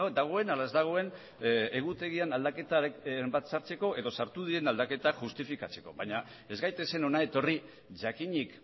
dagoen ala ez dagoen egutegian aldaketaren bat sartzeko edo sartu diren aldaketak justifikatzeko baina ez gaitezen hona etorri jakinik